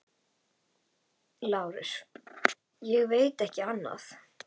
LÁRUS: Ég veit ekki annað.